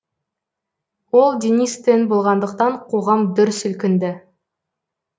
ол денис тен болғандықтан қоғам дүр сілкінді